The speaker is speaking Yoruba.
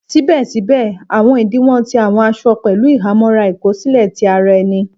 Síbè síbè, àwọn ìdíwọ̀n ti àwọn aṣọ pẹ̀lú ìhámọ́ra ìkó sílè ti ara ẹní